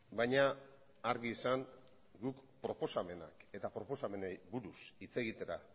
baina argi esan guk proposamenak eta proposamenei buruz hitz egitera